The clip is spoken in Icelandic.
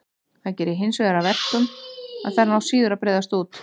Það gerir hinsvegar að verkum að þær ná síður að breiðast út.